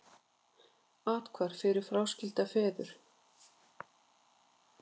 Athvarf fyrir fráskilda feður